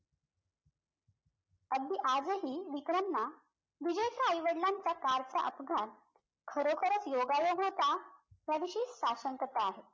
अगदी आजही विक्रमना विजयच्या आई वडलांचा car चा अपघात खरोखरच योगायोग होता त्या विषयी साशंकता आहे